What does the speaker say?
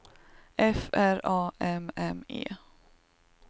F R A M M E